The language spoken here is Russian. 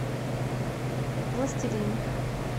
властелин